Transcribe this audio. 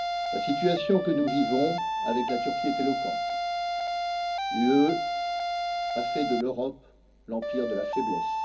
La situation que nous vivons avec la Turquie est éloquente l'UE a fait de l'Europe l'empire de la faiblesse.